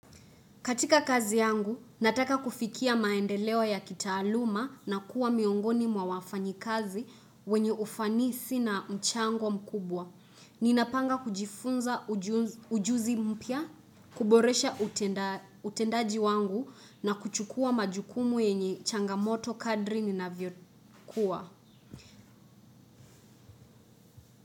Katika kazi yangu, nataka kufikia maendeleo ya kitaaluma na kuwa miongoni mwa wafanyakazi wenye ufanisi na mchango mkubwa. Ninapanga kujifunza ujuzi mpya, kuboresha utendaji wangu na kuchukua majukumu yenye changamoto kadri ninavyo kuwa.